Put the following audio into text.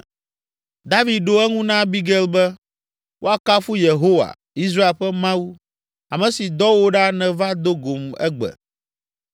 David ɖo eŋu na Abigail be, “Woakafu Yehowa, Israel ƒe Mawu, ame si dɔ wò ɖa nèva do gom egbe!